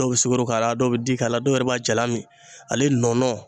Dɔw be sukoro k'a la, dɔw be di k'a la, dɔw yɛrɛ b'a jalan min. Ale nɔnɔ